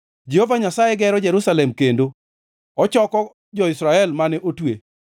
Jehova Nyasaye gero Jerusalem kendo; ochoko jo-Israel mane otwe.